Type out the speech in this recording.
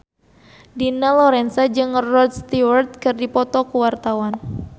Dina Lorenza jeung Rod Stewart keur dipoto ku wartawan